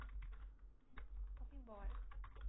Fomo embora.